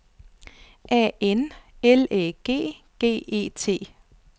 A N L Æ G G E T